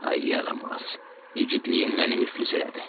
Ay yaramaz, igidliyin məni müflis elədi.